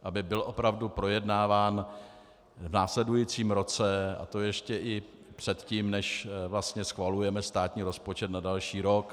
Aby byl opravdu projednáván v následujícím roce, a to ještě i předtím, než vlastně schvalujeme státní rozpočet na další rok.